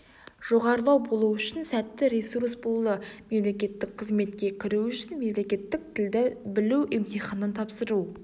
жоғарылау болу үшін сәтті ресурс болды мемлекеттік қызметке кіру үшін мемлекеттік тілді білу емтиханын тапсыру